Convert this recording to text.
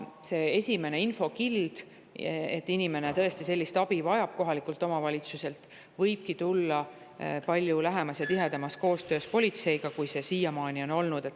See esimene infokild, et inimene tõesti sellist abi kohalikult omavalitsuselt vajab, võibki tulla palju lähema ja tihedama koostöö tõttu politseiga, kui siiamaani on olnud.